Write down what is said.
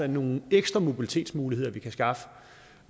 nogle ekstra mobilitetsmuligheder vi kan skaffe